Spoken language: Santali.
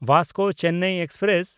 ᱵᱷᱟᱥᱠᱳ ᱪᱮᱱᱱᱟᱭ ᱮᱠᱥᱯᱨᱮᱥ